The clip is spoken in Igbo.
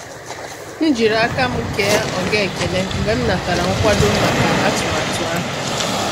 M jiri aka m kee oga ekele mgbe m natara nkwado maka atụmatụ ahụ.